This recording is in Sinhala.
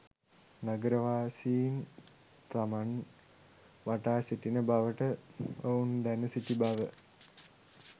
නගරවාසීන් තමන් වටා සිටින බවට ඔවුන් දැන සිටි බව